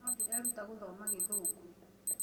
No ndĩreeruta gũthoma gĩthũngũ